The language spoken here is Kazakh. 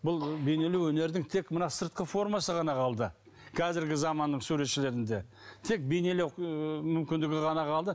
бұл бейнелеу өнердің тек мына сыртқы формасы ғана қалды қазіргі заманның суретшілерінде тек бейнелеу ы мүмкіндігі ғана қалды